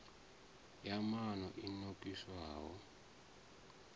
ya nan o i nokisaho